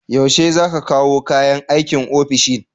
Yaushe za ku kawo kayan aikin ofishin?